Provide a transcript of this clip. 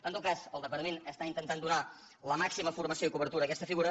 en tot cas el departament està intentant donar la màxima formació i cobertura a aquesta figura